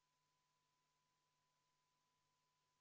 Palun võtta seisukoht ja hääletada!